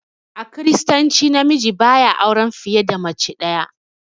A kiristanci na miji ba ya auran fiye da mace ɗaya.